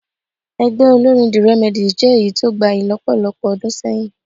Ẹgbẹ́ olórín the Remedies jẹ́ èyí tó gbayì lọ́pọ̀lọpọ̀ ọdún sẹ́yìn